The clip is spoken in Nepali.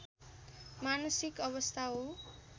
मानसिक अवस्था हो